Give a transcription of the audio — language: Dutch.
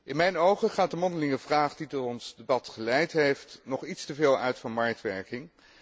In mijn ogen gaat de mondelinge vraag die tot ons debat geleid heeft nog iets te veel uit van marktwerking.